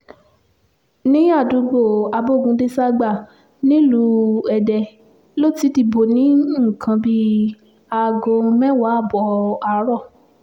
ní àdúgbò abogundéṣágbà nílùú èdè ló ti dìbò ní nǹkan bíi aago mẹ́wàá ààbọ̀ àárọ̀